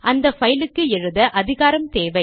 அந்த பைல் க்கு எழுத அதிகாரம் தேவை